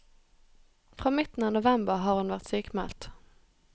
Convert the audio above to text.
Fra midten av november har hun vært sykmeldt.